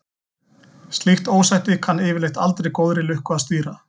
Slíkt ósætti kann yfirleitt aldrei góðri lukka að stýra.